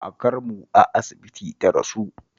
kakarmu a asibiti ta rasu